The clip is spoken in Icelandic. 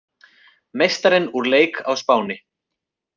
Meistarinn úr leik á Spáni